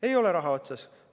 Ei ole raha otsas!